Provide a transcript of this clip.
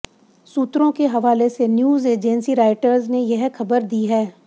सूत्रों के हवाले से न्यूज एजेंसी रॉयटर्स ने यह खबर दी है